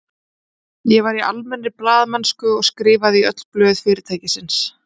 Ég var í almennri blaðamennsku og skrifaði í öll blöð fyrirtækisins.